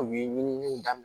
U ye ɲininiw daminɛ